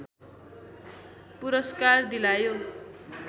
पुरस्कार दिलायो